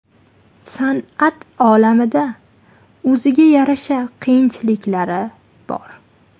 San’at olamida o‘ziga yarasha qiyinchiliklari bor.